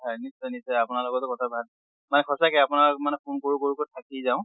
হয় নিশ্চয় নিশ্চয় আপোনাৰ লগতো কথা ভা মানে সঁচাকে আপোনাক মানে phone কৰোঁ কৰোঁ কে থাকি যাওঁ